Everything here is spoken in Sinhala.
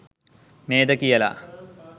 නේද කියලා.